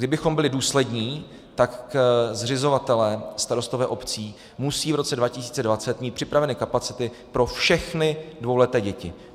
Kdybych byli důslední, tak zřizovatelé, starostové obcí musí v roce 2020 mít připraveny kapacity pro všechny dvouleté děti.